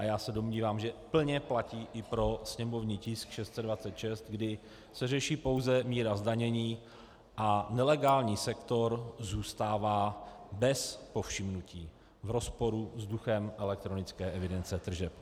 A já se domnívám, že plně platí i pro sněmovní tisk 626, kdy se řeší pouze míra zdanění a nelegální sektor zůstává bez povšimnutí v rozporu s duchem elektronické evidence tržeb.